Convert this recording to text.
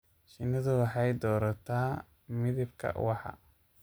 Shinnidu waxay doorataa midabka ubaxa.